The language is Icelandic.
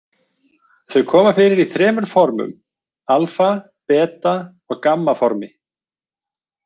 Þau koma fyrir í þremur formum- alfa-, beta- og gamma-formi.